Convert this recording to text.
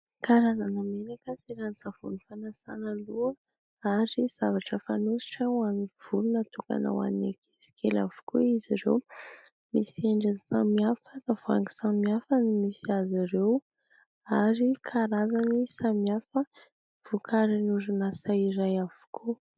Karazana menaka sy ranon-tsavony fanasana loha ary zavatra fanositra ho amin'ny volo natokana ho an'ny ankizikely avokoa izy ireo. Misy endriny samihafa, tavoahangy samihafa no misy azy ireo ary karazany samihafa vokarin'ny orinasa iray avokoa.